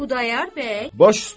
Xudayar bəy baş üstə.